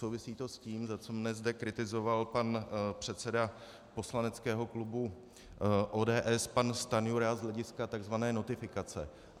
Souvisí to s tím, za co mne zde kritizoval pan předseda poslaneckého klubu ODS pan Stanjura z hlediska tzv. notifikace.